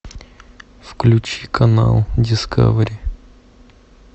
включи канал дискавери